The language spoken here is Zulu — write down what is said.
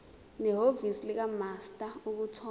nehhovisi likamaster ukuthola